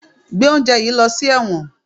Gbé oúnjẹ yìí lọ sí ẹ̀wọ̀n!